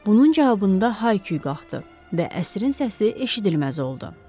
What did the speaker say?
Bunun cavabında hay-küy qalxdı və əsrin səsi eşidilməz oldu.